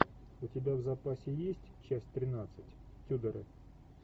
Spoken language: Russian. у тебя в запасе есть часть тринадцать тюдоры